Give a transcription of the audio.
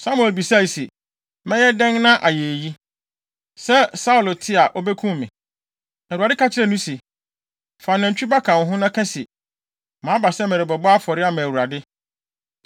Samuel bisae se, “Mɛyɛ dɛn ayɛ eyi? Sɛ Saulo te a obekum me.” Na Awurade ka kyerɛɛ no se, “Fa nantwi ba ka wo ho, na ka se, ‘maba sɛ merebɛbɔ afɔre ama Awurade.’